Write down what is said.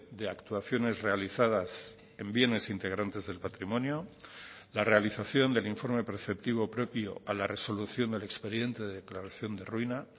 de actuaciones realizadas en bienes integrantes del patrimonio la realización del informe preceptivo propio a la resolución del expediente de declaración de ruina